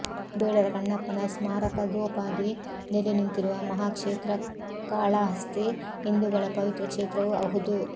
ಬೇಡರ ಕಣ್ಣಪ್ಪನ ಸ್ಮಾರಕದೋಪಾದಿ ನೆಲೆ ನಿಂತಿರುವ ಮಹಾಕ್ಷೇತ್ರಕಾಳಾಹಸ್ತಿ ಹಿಂದೂಗಳ ಪವಿತ್ರ ಕ್ಷೇತ್ರವೂ ಅಹುದು